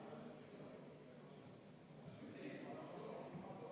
Austatud eesistuja!